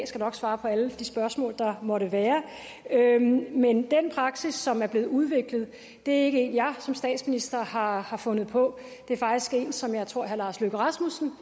skal nok svare på alle de spørgsmål der måtte være men den praksis som er blevet udviklet er ikke en jeg som statsminister har har fundet på det er faktisk en som jeg tror herre lars løkke rasmussen